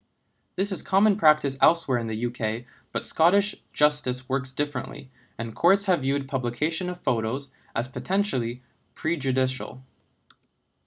this is common practice elsewhere in the uk but scottish justice works differently and courts have viewed publication of photos as potentially prejudicial